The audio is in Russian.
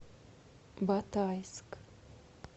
батайск